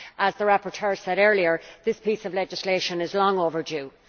As the rapporteur said earlier, this piece of legislation is long overdue.